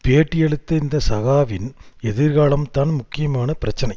பேட்டியளித்த இந்த சகாவின் எதிர்காலம்தான் முக்கியமான பிரச்சனை